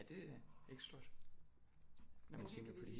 Ja det er ikke stort når man tænker på de